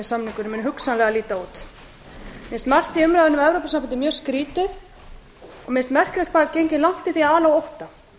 samningurinn muni hugsanlega líta út mér finnst margt í umræðunni um evrópusambandið skrýtið og mér finnst merkilegt hversu langt er gengið í að ala á ótta